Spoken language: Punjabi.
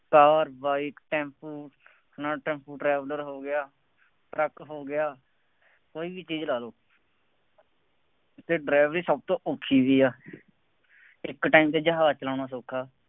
ਕਾਰ, ਬਾਈਕ, ਟੈਂਪੂ, ਨਾ ਟੈਂਪੂ ਟਰੈਵਰਲਰ ਹੋ ਗਿਆ, ਟਰੱਕ ਹੋ ਗਿਆ, ਕੋਈ ਵੀ ਚੀਜ਼ ਲਾ ਲ਼ਉ। ਅਤੇ ਡਰਾਈਵਰੀ ਸਭ ਤੋਂ ਔਖੀ ਵੀ ਆ, ਇੱਕ time ਤੇ ਜਹਾਜ਼ ਚਲਾਉਣਾ ਸੌਖਾ,